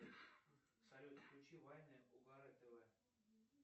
салют включи вайна угара тв